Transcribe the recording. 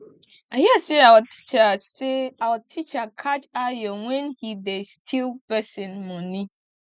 i hear say our teacher say our teacher catch ayo wen he dey steal person money